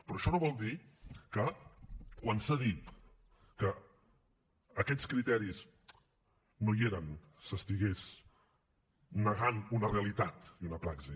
però això no vol dir que quan s’ha dit que aquests criteris no hi eren s’estigués negant una realitat i una praxi